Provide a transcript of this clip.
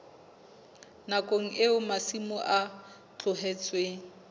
nakong eo masimo a tlohetsweng